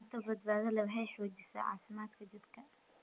Cunto badbaado leh waxay xoojisaa caafimaadka jidhka.